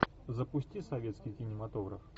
запусти советский кинематограф